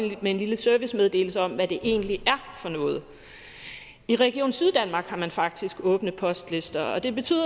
med en lille servicemeddelelse om hvad det egentlig er for noget i region syddanmark har man faktisk åbne postlister og det betyder